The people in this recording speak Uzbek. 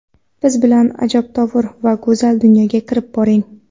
Biz bilan ajabtovur va go‘zal dunyoga kirib boring!